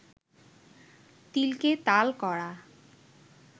তিলকে তাল করা